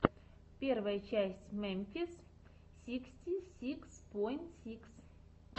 первая часть мемфис сиксти сикс поинт сикс